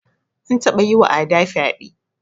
An taba yiwa Ada fyaɗe.